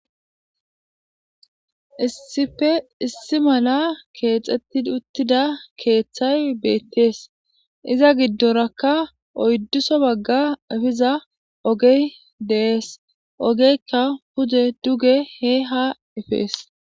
Issippe issi mala keexxetti uttida keeththay beettees iza giddorakka oydduso bagga efiza ogey dees ogeykka pude duge he ha epees